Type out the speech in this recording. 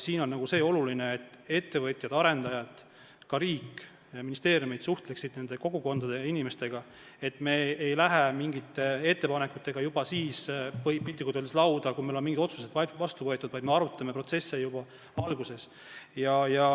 Siin on oluline see, et ettevõtjad ja arendajad, ka riik ja ministeeriumid suhtleksid nende kogukondade ja inimestega, et me ei läheks mingite ettepanekutega piltlikult öeldes lauda alles siis, kui meil on mingid otsused vastu võetud, vaid me arutaksime protsesse juba alguses.